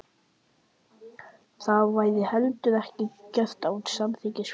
Það væri heldur ekki gert án samþykkis foreldra.